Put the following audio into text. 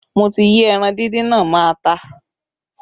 Mo ti yí ẹran díndín náà mọ́ ata